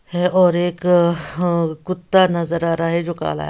है और एक अ ह कुत्ता नज़र आ रहा है जो काला है।